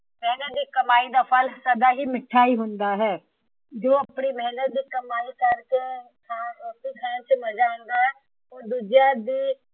ਮੇਹਨਤ ਦੀ ਕਮਾਈ ਦਾ ਫ਼ਲ ਸਦਾ ਹੀ ਮਿੱਠਾ ਹੀ ਹੁੰਦਾ ਹੈ। ਜੋ ਆਪਣੀ ਮੇਹਨਤ ਦੀ ਕਮਾਈ ਕਰਕੇ ਰੋਟੀ ਖਾਣ ਦਾ ਮਜ਼ਾ ਆਉਂਦਾ ਹੈ।